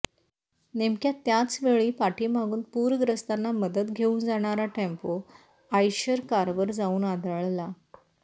नेमक्मया त्याचवेळी पाठीमागून पूरग्रस्तांना मदत घेऊन जाणारा टेम्पो आयशर कारवर जाऊन आदळला